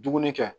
Dumuni kɛ